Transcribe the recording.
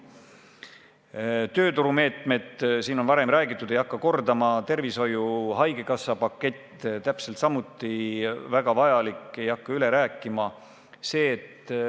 Toon näiteks tööturumeetmed ja – siin sellest on juba räägitud, ma ei hakka kordama – tervishoiu-haigekassa pakett.